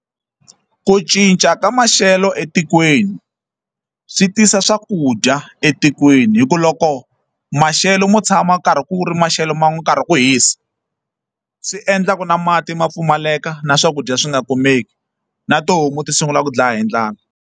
Ku cinca ka maxelo etikweni swi tisa swakudya etikweni hikuva loko maxelo mo tshama ku karhi ku ri maxelo ma wo karhi ku hisa swi endlaka na mati ma pfumaleka na swakudya swi nga kumeki na tihomu ti sungula ku dlaya hi ndlala.